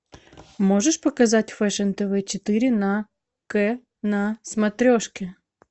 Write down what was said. можешь показать фэшн тв четыре на к на смотрешке